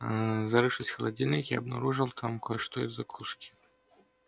зарывшись в холодильник я обнаружил там кое-что из закуски